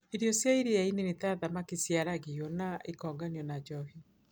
Irio cia iria-inĩ nĩ ta thamaki ciaragio na ikonganio na njohi.